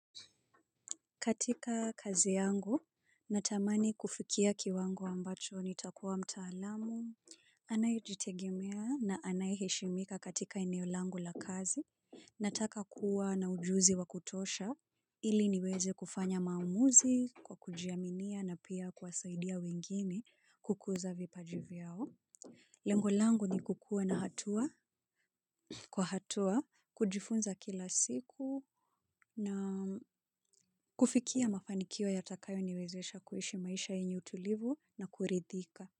Katika kazi yangu, natamani kufikia kiwango ambacho ni takuwa mtaalamu, anayejitegemea na anayeheshimika katika eneolangu la kazi, nataka kuwa na ujuzi wa kutosha, ili niweze kufanya maamuzi kwa kujiaminia na pia kuwasaidia wengine kukuza vipajivyao. Lengo langu ni kukuwa na hatua, kwa hatua, kujifunza kila siku na kufikia mafanikio ya takayo niwezesha kuishi maisha yenye utulivu na kuridhika.